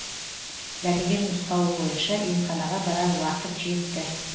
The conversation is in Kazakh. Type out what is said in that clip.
дәрігер нұсқауы бойынша емханаға барар уақыт жетті